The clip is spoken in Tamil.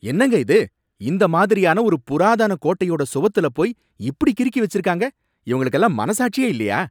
என்னங்க இது! இந்த மாதிரியான ஒரு புராதான கோட்டையோட சுவத்துல போய் இப்படி கிறுக்கி வச்சுருக்காங்க, இவங்களுக்குலாம் மனசாட்சியே இல்லையா?